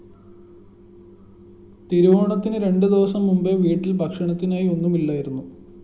തിരുവോണത്തിന് രണ്ടുദിവസം മുമ്പേ വീട്ടില്‍ ഭക്ഷണത്തിനായി ഒന്നുമില്ലായിരുന്നു